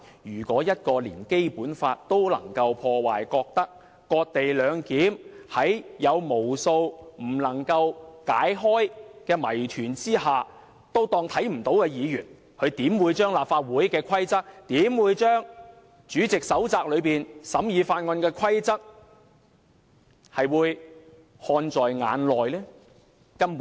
如果一名議員連《基本法》也能破壞，覺得"割地兩檢"有無數不能解開的謎團，但仍可視而不見，他們又怎會把立法會規則和主席手冊中審議法案的規則看在眼內？